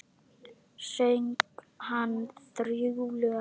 Söng hann þrjú lög.